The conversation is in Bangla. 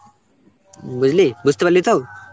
বুঝলি, বুঝতে পারলি তো?